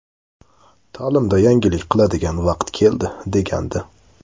Ta’limda yangilik qiladigan vaqt keldi”, degandi.